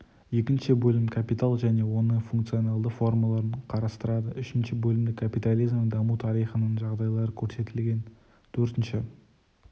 екінші бөлім капитал және оның функционалды формаларын қарастырады үшінші бөлімде капитализмнің даму тарихының жағдайлары көрсетілген төртінші